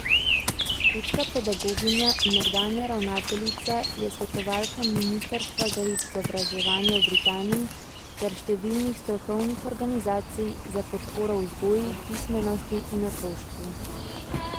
Škotska pedagoginja in nekdanja ravnateljica je svetovalka ministrstva za izobraževanje v Britaniji ter številnih strokovnih organizacij za podporo vzgoji, pismenosti in otroštvu.